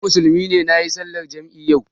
Ni Musulmi ne kuma nayi sallar jam'i yau